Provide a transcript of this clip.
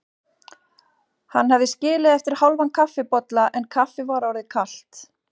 Hann hafði skilið eftir hálfan kaffibolla en kaffið var orðið kalt.